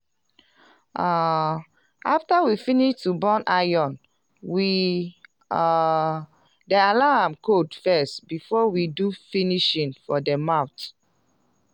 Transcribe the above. um after we finish to burn iron we um dey allow am cold first before we do finishing for de mouth.